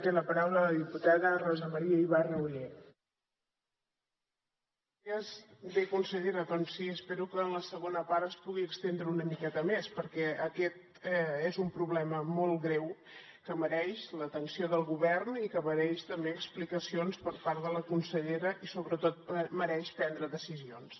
bé consellera doncs sí espero que en la segona part es pugui estendre una miqueta més perquè aquest és un problema molt greu que mereix l’atenció del govern i que mereix també explicacions per part de la consellera i sobretot mereix prendre decisions